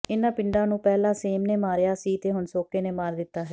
ਇਨ੍ਹਾਂ ਪਿੰਡਾਂ ਨੂੰ ਪਹਿਲਾਂ ਸੇਮ ਨੇ ਮਾਰਿਆ ਸੀ ਤੇ ਹੁਣ ਸੋਕੇ ਨੇ ਮਾਰ ਦਿੱਤਾ ਹੈ